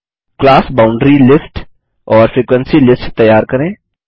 class boundary list और frequency list तैयार करें